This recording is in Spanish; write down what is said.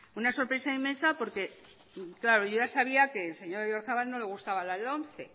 una sorpresa inmensa porque claro yo ya sabía que al señor oyarzabal no le gustaba la lomce